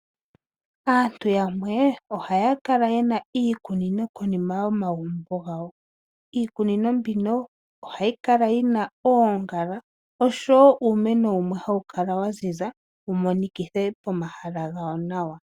Aantu yamwe ohaya kala yena iikunino konima yomagumbo gawo. Iikunino mbino ohayi kala yina oongala oshowo uumeno wumwe hawu kala wa ziza wu monikithe pomahala gawo nawa.